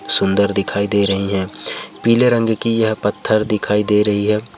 सुंदर दिखाई दे रहे हैं। पीले रंग की यह पठार दिखाई दे रहे है।